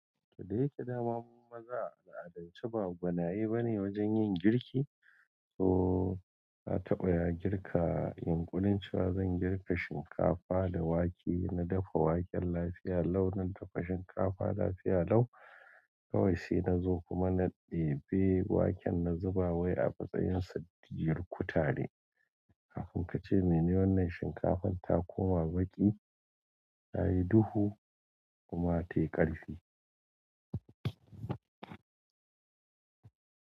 Da yaƙe dama maza a, adalci ba gwanaye bane wajen yin girki. To, na taɓa girka. Yunƙunrnncewa zan girka shinkafa da wake, na dafa waken lafiya lau na dafa shinkafa lafiya lau. Kawai sai na zo kuma na ɗebe waken na zuba wai a matsayin sadiyar kutare. Kafin ka ce mene wannan shinkafan ta koma baki, ta yi duhu kuma tai karfi.